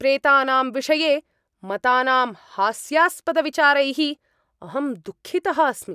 प्रेतानां विषये मतानां हास्यास्पदविचारैः अहं दुःखितः अस्मि।